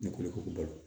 Ne kolo ko balo